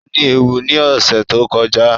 O ní éwo ni ọ̀sẹ̀ tó kọjá